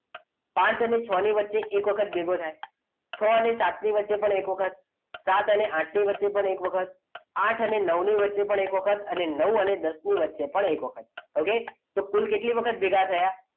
પાંચ અને છ ની વચ્ચે એક વખત ભેગો થાય છ અને સાતની વચ્ચે એક વખત સાત અને આઠની વચ્ચે એક વખત આઠ અને નવની વચ્ચે પણ એક વખત નવ અને દસ ની વચ્ચે પણ એક વખત okay તો કુલ કેટલી વખત ભેગા થયા